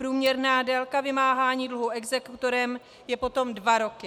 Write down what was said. Průměrná délka vymáhání dluhu exekutorem je potom dva roky.